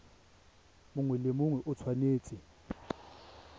mongwe le mongwe o tshwanetse